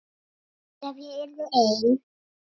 Ef ég yrði ein.